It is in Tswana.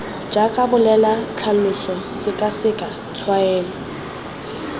jaaka bolela tlhalosa sekaseka tshwaela